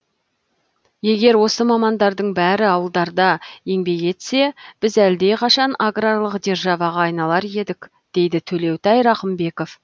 егер осы мамандардың бәрі ауылдарда еңбек етсе біз әлдеқайшан аграрлық державаға айналар едік дейді төлеутай рақымбеков